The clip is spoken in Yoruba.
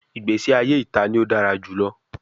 Igbesi aye ita ni o dara julọ